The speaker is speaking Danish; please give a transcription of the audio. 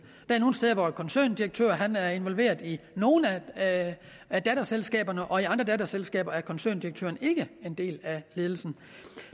er nogle steder hvor en koncerndirektør er involveret i nogle af af datterselskaberne og i andre datterselskaber er koncerndirektøren ikke en del af ledelsen